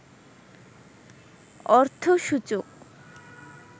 অর্থসূচক